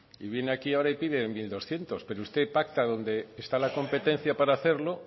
y viene aquí ahora y pide mil doscientos pero usted pacta donde está la competencia para hacerlo